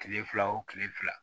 Kile fila o kile fila